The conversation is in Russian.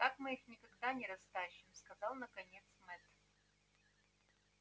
так мы их никогда не растащим сказал наконец мэтт